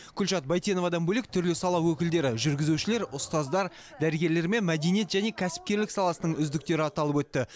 күлшат байтеновадан бөлек түрлі сала өкілдері жүргізушілер ұстаздар дәрігерлер мен мәдениет және кәсіпкерлік саласының үздіктері аталып өтті